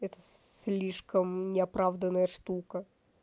это слишком неоправданная штука